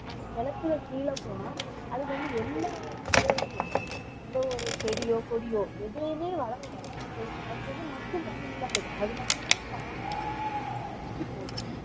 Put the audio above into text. அது நிலத்துக்கு கீழே போனா அதுக்கு வந்து எந்த ஒரு இதையுமே எந்த ஒரு செடியோ கொடியோ எதையுமே வளர விடாது அதுக்கு வந்து மக்கும் தன்மை இல்லாதது அதனாலேயே பாதி இதுவும் வந்து அழிஞ்சு போகுது